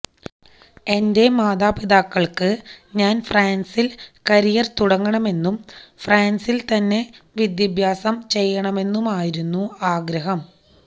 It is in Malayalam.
എന്റെ മാതാപിതാക്കള്ക്ക് ഞാന് ഫ്രാന്സില് കരിയര് തുടങ്ങണമെന്നും ഫ്രാന്സില് തന്നെ വിദ്യാഭ്യാസം ചെയ്യണമെന്നുമായിരുന്നു ആഗ്രഹം